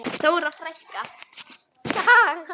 Þóra frænka.